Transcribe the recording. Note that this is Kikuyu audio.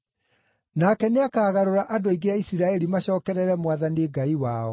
Nake nĩakagarũra andũ aingĩ a Isiraeli macookerere Mwathani Ngai wao.